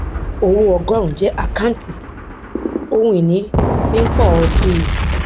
owó ọgórùn jẹ àkántì ohun ìní tí ń pọ ọ síi